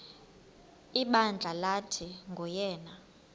ibandla lathi nguyena